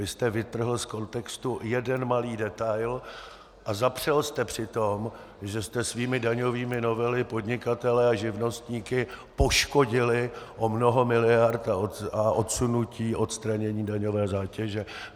Vy jste vytrhl z kontextu jeden malý detail a zapřel jste při tom, že jste svými daňovými novelami podnikatele a živnostníky poškodili o mnoho miliard a odsunutí, odstranění daňové zátěže.